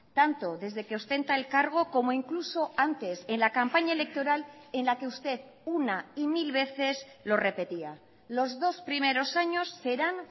tanto desde que ostenta el cargo como incluso antes en la campaña electoral en la que usted una y mil veces lo repetía los dos primeros años serán